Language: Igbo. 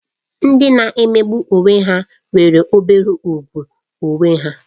Ndị na-emegbu onwe ha nwere obere ùgwù onwe onye